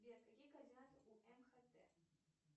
сбер какие координаты у мхт